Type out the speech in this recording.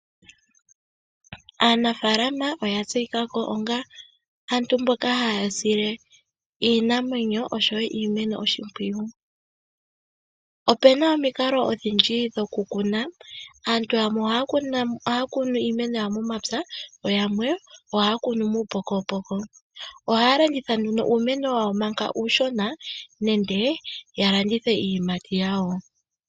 Aanafaalama oya tseyika ko onga aantu mboka haya sile iinamwenyo osho wo iimeno oshimpwiyu. Opena omikalo odhindji dhoku kuna, aantu yamwe ohaya kunu iimeno yawo momapya yo yamwe ohaya kunu muupokopoko. Ohaya landiitha nduno uumeno wawo manga uushona nenge ya landithe iiyimati yawo.